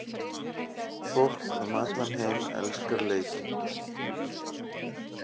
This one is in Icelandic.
Fólk um allan heim elskar leikinn.